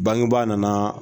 Bangeba nanaaa.